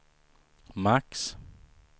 max